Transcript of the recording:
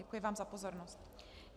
Děkuji vám za pozornost.